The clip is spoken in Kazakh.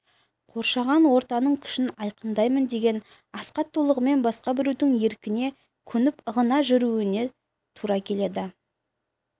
қоршаған ортаның күшін айқындаймын деген асхат толығымен басқа біреудің еркіне көніп ығына жүруіне тура келеді